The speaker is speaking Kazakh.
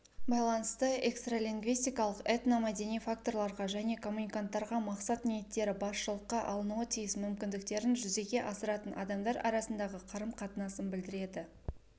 байланысты экстралингвистикалық этномәдени факторларға және коммуниканттарға мақсат-ниеттері басшылыққа алынуы тиіс мүмкіндіктерін жүзеге асыратын адамдар арасындағы қарым-қатынасын білдіреді